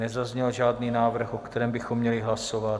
Nezazněl žádný návrh, o kterém bychom měli hlasovat.